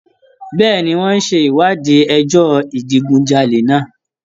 Bẹ́ẹ̀ni, wọ́n ń ṣe ìwádìí ẹjọ́ ìdigunjalè náà.